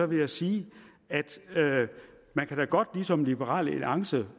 vil jeg sige at man da godt ligesom liberal alliance